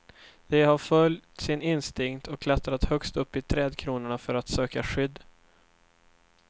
De har följt sin instinkt och klättrat högst upp i trädkronorna för att söka skydd.